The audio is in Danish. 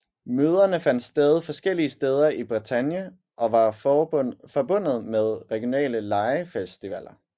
Møderne fandt sted forskellige steder i Bretagne og var forbundet med regionale legefestivaller